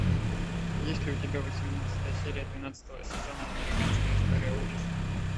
есть ли у тебя восемнадцатая серия двенадцатого сезона американская история ужасов